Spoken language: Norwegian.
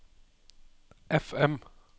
FM